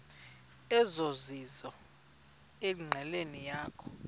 ezizizo enqileni yakho